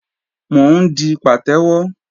Mò ń di pàtẹ́wọ́